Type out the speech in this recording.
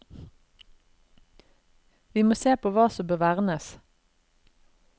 Vi må se på hva som bør vernes.